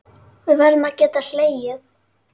Við verðum að geta hlegið.